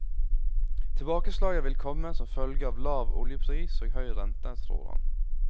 Tilbakeslaget vil komme som følge av lav oljepris og høy rente, tror han.